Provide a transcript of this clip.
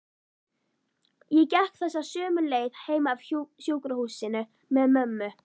Ég gekk þessa sömu leið heim af sjúkrahúsinu með mömmu.